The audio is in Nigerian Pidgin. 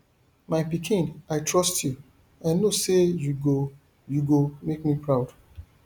my pikin i trust you i know say you go you go make me proud